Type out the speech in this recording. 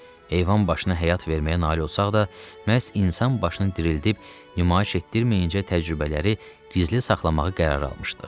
Heyvan başına həyat verməyə nail olsaq da, məhz insan başını dirildib nümayiş etdirməyincə təcrübələri gizli saxlamağı qərar almışdıq.